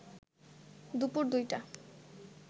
দুপুর ২টায়